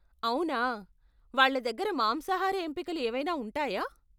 అవునా, వాళ్ళ దగ్గర మాంసాహార ఎంపికలు ఏవైనా ఉంటాయా?